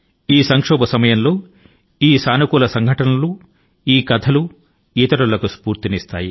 ఈ విపత్తు కాలం లో ఈ సానుకూల ఘటనలు ఇతరుల లో స్ఫూర్తి ని నింపుతాయి